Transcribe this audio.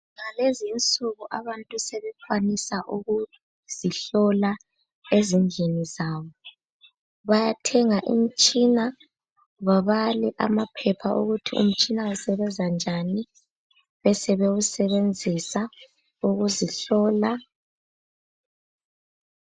Ngalezi insuku abantu sebekwanisa ukuzihlola ezindlini zabo, bayathenga imitshina babale amaphepha ukuthi umtshina usebenza njani, besebewusebenzisa ukuzihlola.